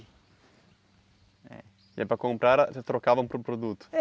E aí para comprar, vocês trocavam por produto?